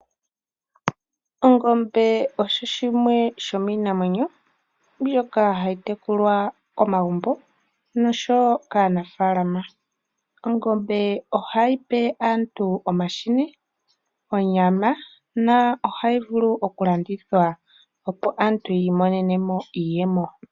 Ongombe osho shimwe shomiinamwenyo mbyoka hayi tekulwa megumbo noshowo kaanafalama. Ongombe ohayi pe aantu omahini, onyama na ohayi vulu oku landithwa, opo aantu ya imonene mo iiyemo.